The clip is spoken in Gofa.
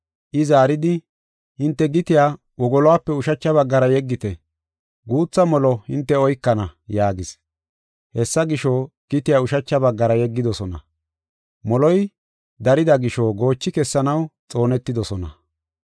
I zaaridi, “Hinte gitiya wogoluwape ushacha baggara yeggite; guutha molo hinte oykana” yaagis. Hessa gisho, gitiya ushacha baggara yeggidosona. Moloy darida gisho goochi kessanaw xoonetidosona.